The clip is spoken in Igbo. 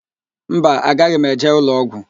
Mba, agaghị m eje ụlọọgwụ.